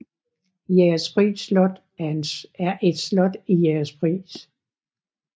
Jægerspris Slot er et slot i Jægerspris